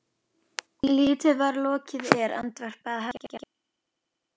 Lítið var lokið er, andvarpaði Hallgerður.